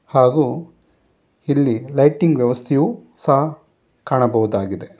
ಹಾಗು ಇಲ್ಲಿ ಲೈಟಿಂಗ್ ವ್ಯವಸ್ಥೆಯೂ ಸಹ ಕಾಣಬಹುದಾಗಿದೆ.